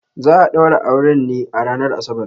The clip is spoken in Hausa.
Za a daura auren ne a ranar Asabar.